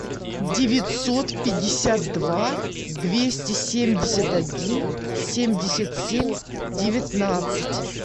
девятьсот пятьдесят два двести семьдесят один семьдесят семь девятнадцать